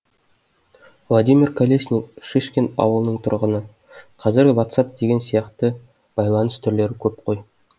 владимир колесник шишкин ауылының тұрғыны қазір ватсап деген сияқты байланыс түрлері көп қой